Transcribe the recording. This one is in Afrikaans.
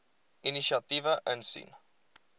inisiatiewe insien